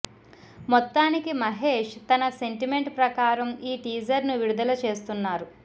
మొత్తానికి మహేష్ తన సెంటిమెంట్ ప్రకారం ఈ టీజర్ ను విడుదల చేస్తున్నారు